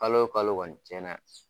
Kalo kalo kɔni tiɲɛna